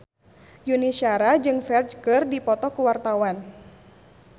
Yuni Shara jeung Ferdge keur dipoto ku wartawan